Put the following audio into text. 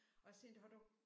Og set har du